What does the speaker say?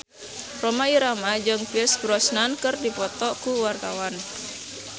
Rhoma Irama jeung Pierce Brosnan keur dipoto ku wartawan